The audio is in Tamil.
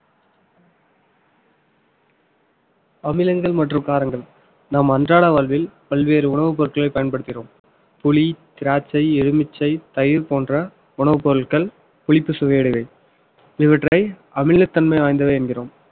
அமிலங்கள் மற்றும் காரங்கள் நம் அன்றாட வாழ்வில் பல்வேறு உணவுப் பொருட்களை பயன்படுத்துகிறோம் புளி, திராட்சை, எலுமிச்சை, தயிர் போன்ற உணவுப் பொருட்கள் புளிப்பு சுவை உடையவை. இவற்றை அமிலத்தன்மை வாய்ந்தவை என்கிறோம்